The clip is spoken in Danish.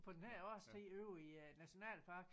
På den her årstid ude i æ nationalpark